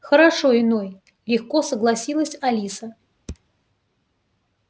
хорошо иной легко согласилась алиса